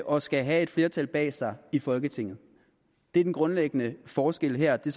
og skal have et flertal bag sig i folketinget det er den grundlæggende forskel her og det